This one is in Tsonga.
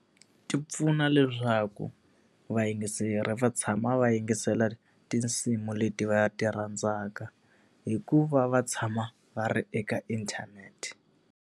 Ti pfuna leswaku vayingiseri va tshama va yingisela tinsimu leti va ti rhandzaka hi ku va va tshama va ri eka inthanete.